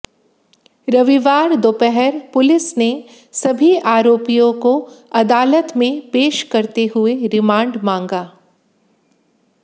रविवार दोपहर पुलिस ने सभी आरोपियों को अदालत में पेश करते हुए रिमांड मांगा